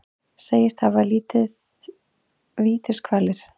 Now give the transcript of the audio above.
Segist hafa liðið vítiskvalir